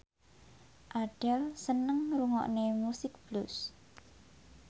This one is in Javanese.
Adele seneng ngrungokne musik blues